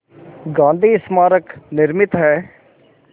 गांधी स्मारक निर्मित है